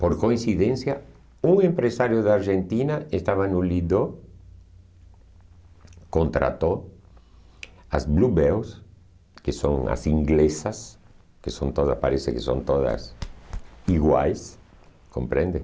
Por coincidência, um empresário da Argentina estava no Lido, contratou as Bluebells, que são as inglesas, que são todas parece que são todas iguais, compreende?